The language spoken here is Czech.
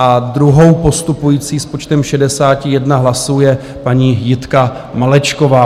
A druhou postupující s počtem 61 hlasů je paní Jitka Malečková.